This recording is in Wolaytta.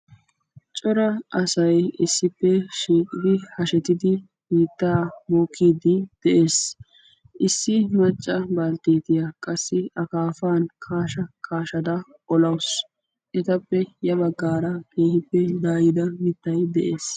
cora say issippe shiiqidi hashettidi biittaa bookkiiddi de'es. issi macca baltteetiya qassi akaafan kaasha kaashada olawusu. etappe ya baggaara keehippe daayida mittay de'es.